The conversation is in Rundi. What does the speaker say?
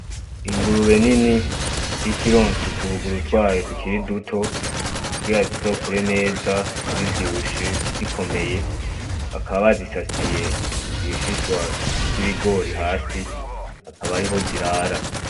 Ingurube nini iriko ironsa utubuguru twayo tukiri duto kugira zizokure neza, zivyibushe, zikomeye, bakaba bazisasiye ibishishwa vy'ibigori hasi abe ariho zirara.